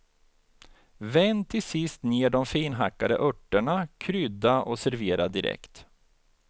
Vänd till sist ned de finhackade örterna, krydda och servera direkt.